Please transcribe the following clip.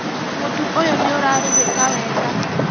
Mũtu ũyũ nĩũrarugĩka wega